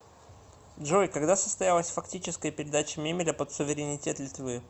джой когда состоялась фактическая передача мемеля под суверенитет литвы